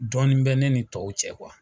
Dɔɔnin bɛ ne ni tɔw cɛ